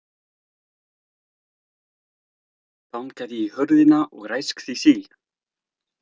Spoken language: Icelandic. Bankaði í hurðina og ræskti sig.